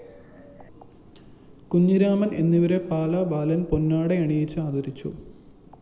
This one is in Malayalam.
കുഞ്ഞിരാമന്‍ എന്നിവരെ പാല ബാലന്‍ പൊന്നാടയണിയിച്ച് ആദരിച്ചു